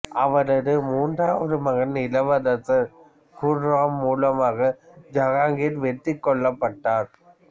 அவரது மூன்றாவது மகன் இளவரசர் குர்ராம் மூலமாக ஜஹாங்கிர் வெற்றி கொள்ளப்பட்டார்